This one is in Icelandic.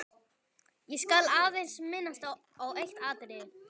Ég skal aðeins minnast á eitt atriði.